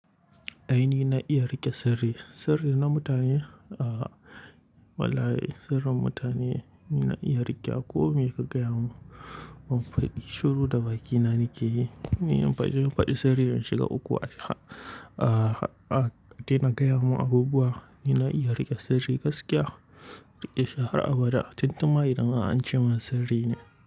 Aini na iya riƙe sirri. Sirrin na mutane, ah, wallahi sirrin mutane ina iya riƙe. Akwai miya ka gaya mun, mun faɗi shuru da bakina nake yi. Ni an faɗi, mun faɗi sirri yan shiga uku. Aji ha-- ah, ka tina gaya mun abubuwa, ina iya riƙe sirri gaskiya. Riƙe shi har abda tun tun ma idan har an ce mun sirri ne.